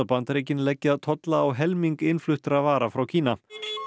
Bandaríkin leggja tolla á helming innfluttra vara frá Kína